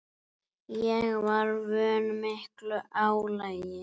Ég var vön miklu álagi.